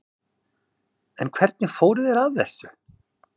En hvernig fóru þeir að þessu?